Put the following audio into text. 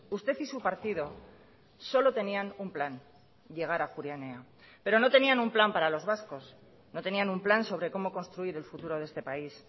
usted y su partido solo tenían un plan llegar a ajuria enea pero no tenían un plan para los vascos no tenían un plan sobre cómo construir el futuro de este país